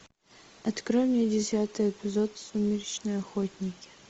открой мне десятый эпизод сумеречные охотники